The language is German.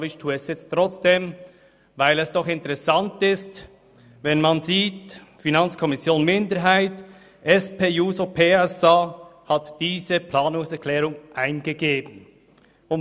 Aber ich tue es trotzdem, weil es doch interessant ist, dass die FiKo-Minderheit und die SP-JUSO-PSA-Fraktion diese Planungserklärung eingegeben haben.